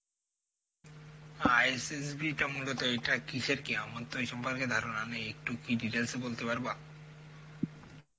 ISSB টা মূলত এটা কিসের কেয়ামত তো এই সম্পর্কে ধারণা নেই একটু কি details এ বলতে পারবা?